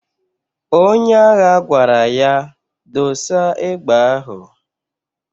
Onye agha gwara ya,"Dosa egbe ahụ!"